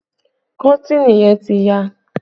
Kọ́tìnì yẹn ti ya